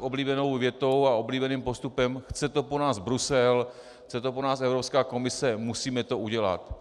oblíbenou větou a oblíbeným postupem: chce to po nás Brusel, chce to po nás Evropská komise, musíme to udělat.